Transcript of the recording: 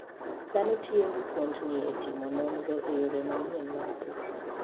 Dhano tiyo gi thuondni e timo nonro e yore manyien mag pur.